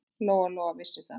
Lóa-Lóa vissi það.